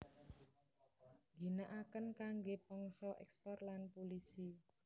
Ngginaaken kangge pangsa ekspor lan pulisi